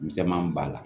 Misɛnman b'a la